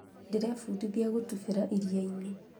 ndĩrebundithia gũtubĩra iria-inĩ